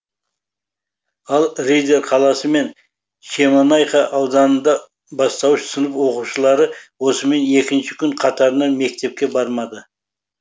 ал риддер қаласы мен шемонайха ауданында бастауыш сынып оқушылары осымен екінші күн қатарынан мектепке бармады